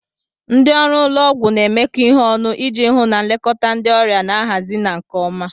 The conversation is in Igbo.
Ndị ọrụ ụlọ ọgwụ na-emekọ ihe ọnụ iji hụ na nlekọta ndị ọrịa na-ahazi na nke ọma.